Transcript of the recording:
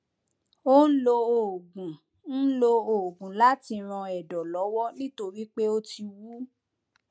ó ń lo oògùn ń lo oògùn láti ran ẹdọ lọwọ nítorí pé ó ti wú